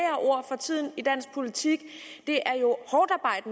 ord i dansk politik